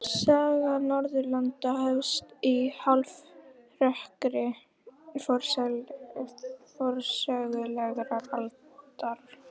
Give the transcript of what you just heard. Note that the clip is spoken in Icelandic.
Saga Norðurlanda hefst í hálfrökkri forsögulegrar aldar.